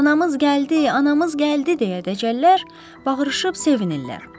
Anamız gəldi, anamız gəldi, deyə dəcəllər bağırışıb sevinirlər.